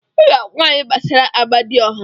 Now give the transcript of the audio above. Ị ga-agwa anyị gbasara Amadioha.